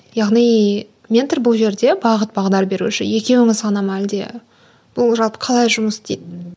яғни ментор бұл жерде бағыт бағдар беруші екеуіңіз ғана ма әлде бұл жалпы қалай жұмыс істейді